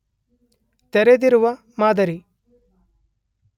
ತೆರೆದಿರುವ ಮಾದರಿ